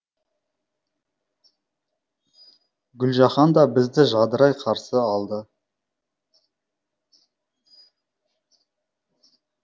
гүлжаһан да бізді жадырай қарсы алды